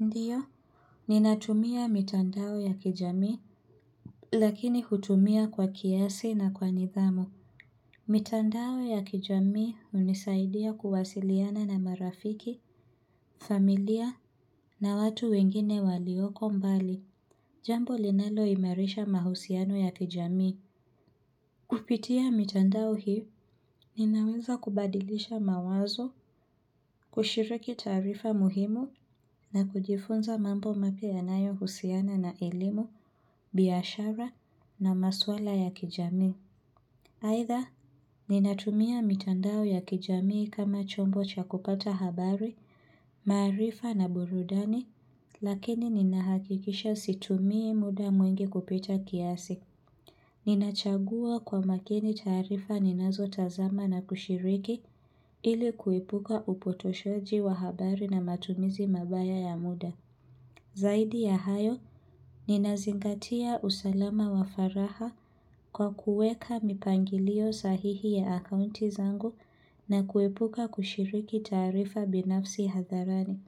Ndiyo, ninatumia mitandao ya kijamii lakini hutumia kwa kiasi na kwa nidhamu. Mitandao ya kijamii hunisaidia kuwasiliana na marafiki, familia na watu wengine walioko mbali. Jambo linalo imarisha mahusiano ya kijamii. Kupitia mitandao hii, ninaweza kubadilisha mawazo, kushiriki taarifa muhimu, na kujifunza mambo mapya yanayo husiana na elimu, biashara na maswala ya kijamii. Aidha, ninatumia mitandao ya kijamii kama chombo cha kupata habari, maarifa na burudani, lakini ninahakikisha situmie muda mwingi kupita kiasi. Ninachagua kwa makini taarifa ninazo tazama na kushiriki ili kuepuka upotoshaji wa habari na matumizi mabaya ya muda. Zaidi ya hayo, ninazingatia usalama wa faraha kwa kuweka mipangilio sahihi ya akounti zangu na kuepuka kushiriki taarifa binafsi hadharani.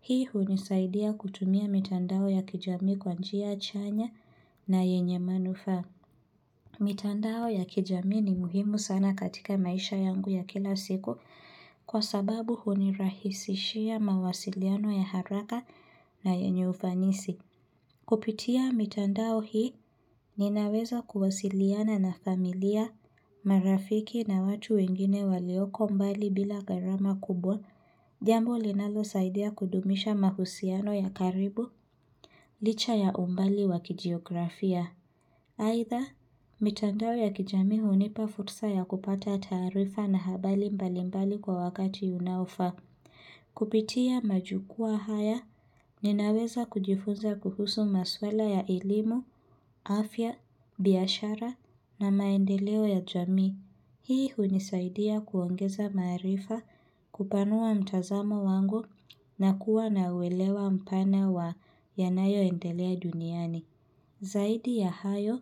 Hii hunisaidia kutumia mitandao ya kijamii kwa njia chanya na yenye manufaa. Mitandao ya kijamiu ni muhimu sana katika maisha yangu ya kila siku kwa sababu hunirahisishia mawasiliano ya haraka na yenye ufanisi. Kupitia mitandao hii, ninaweza kuwasiliana na familia, marafiki na watu wengine walioko mbali bila gharama kubwa. Jambo linalo saidia kudumisha mahusiano ya karibu, licha ya umbali wa kijiografia. Aidha, mitandao ya kijamii hunipa fursa ya kupata taarifa na habari mbalimbali kwa wakati unaofaa. Kupitia majukwaa haya, ninaweza kujifunza kuhusu maswala ya elimu, afya, biashara na maendeleo ya jamii. Hii hunisaidia kuongeza maarifa kupanua mtazamo wangu na kuwa na uelewa mpana wa yanayo endelea duniani. Zaidi ya hayo,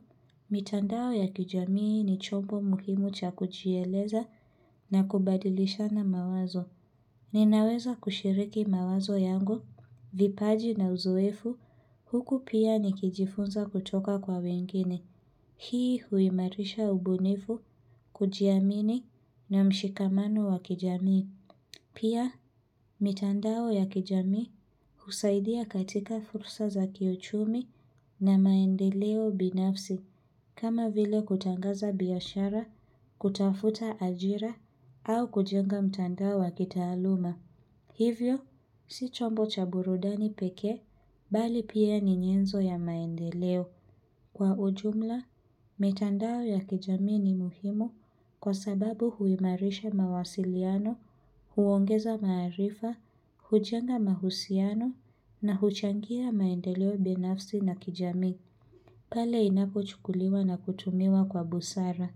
mitandao ya kijamii ni chombo muhimu cha kujieleza na kubadilishana mawazo. Ninaweza kushiriki mawazo yangu, vipaji na uzoefu, huku pia ni kijifunza kutoka kwa wengine. Hii huimarisha ubunifu kujiamini na mshikamano wa kijamii. Pia, mitandao ya kijamii husaidia katika fursa za kiuchumi na maendeleo binafsi kama vile kutangaza biashara, kutafuta ajira au kujenga mtandao wa kitaaluma. Hivyo, si chombo cha burudani pekee bali pia ni nyenzo ya maendeleo. Kwa ujumla, mitandao ya kijamii ni muhimu kwa sababu huimarisha mawasiliano, huongeza maarifa, hujenga mahusiano na huchangia maendeleo binafsi na kijamii. Pale inapo chukuliwa na kutumiwa kwa busara.